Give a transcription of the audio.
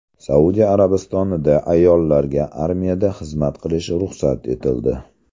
Saudiya Arabistonida ayollarga armiyada xizmat qilish ruxsat etildi.